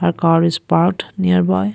a car is parked nearby.